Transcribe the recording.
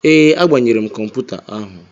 Ee, agbanyere m kọmputa ahu.